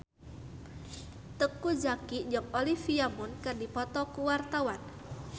Teuku Zacky jeung Olivia Munn keur dipoto ku wartawan